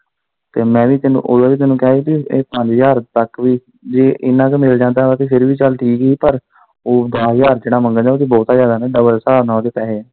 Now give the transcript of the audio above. ਤੇ ਮੈਂ ਵੀ ਤੈਨੂੰ ਓਦੋਂ ਹੀ ਤੈਨੂੰ ਇਦਾ ਕਿਹਾ ਹੀ ਭੀ ਇਹ ਪੰਜ ਹਜ਼ਾਰ ਤੱਕ ਵੀ ਜੇ ਇੰਨਾਂ ਕ ਮਿਲ ਜਾਂਦਾ ਤਾਂ ਫਿਰ ਵੀ ਚੱਲ ਠੀਕ ਹੀ ਪਰ ਉਹ ਦਸ ਹਜ਼ਾਰ ਚ ਨਾ ਮੰਗਣ ਦੇ ਹੋਣ ਓਹ ਤਾਂ ਬਹੁਤਾ ਜਿਆਦਾ ਨਾ ਡਬਲ ਸਾਬ ਨਾਲ ਉਹਦੇ ਪੈਹੇ।